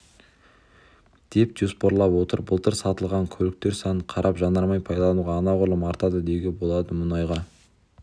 деп жоспарлап отыр былтыр сатылған көліктер санына қарап жанармай пайдалану анағұрлым артады деуге болады мұнайға